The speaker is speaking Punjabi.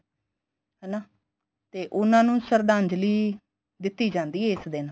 ਹਨਾ ਤੇ ਉਨ੍ਹਾਂ ਨੂੰ ਸ਼ਰਦਾਂਜਲੀ ਦਿੱਤੀ ਜਾਂਦੀ ਏ ਇਸ ਦਿਨ